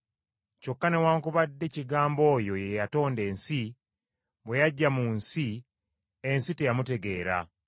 Kyokka newaakubadde Kigambo oyo ye yatonda ensi, bwe yajja mu nsi, ensi teyamutegeera.